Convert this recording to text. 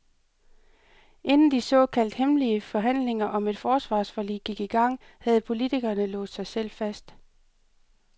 Inden de såkaldt hemmelige forhandlinger om et forsvarsforlig gik i gang, havde politikerne låst sig selv fast.